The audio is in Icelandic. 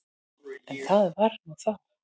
En það var nú þá.